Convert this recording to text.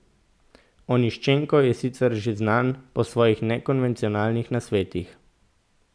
Oniščenko je sicer že znan po svojih nekonvencionalnih nasvetih.